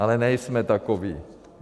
Ale nejsme takoví.